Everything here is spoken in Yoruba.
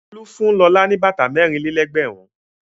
Folú fún Lọlá bàtà mẹ́rin-lé-ẹgbẹ̀rún.